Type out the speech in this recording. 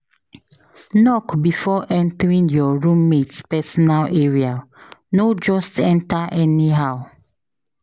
Knock before entering your roommate personal area; no just enter anyhow.